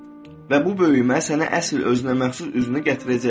Və bu böyümə sənə əsl özünə məxsus üzünü gətirəcək.